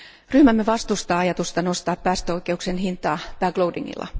Ryhmämme vastustaa ajatusta nostaa päästöoikeuksien hintaa back loadingilla.